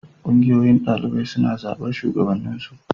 Ƙungiyoyin ɗalibai suna zaɓar shugabanninsu.